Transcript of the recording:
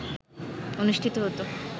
অনুষ্ঠিত হত